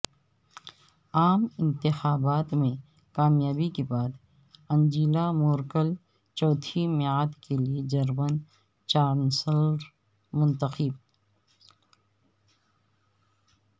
عام انتخابات میں کامیابی کے بعد انجیلا مورکل چوتھی میعاد کیلئے جرمن چانسلر منتخب